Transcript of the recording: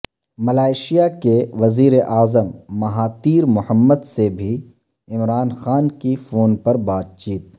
Malaysia کے وزیراعظم Mahathir Mohamad سے بھی عمران خان کی فون پربات چیت